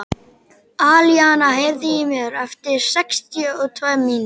Alíana, heyrðu í mér eftir sextíu og tvær mínútur.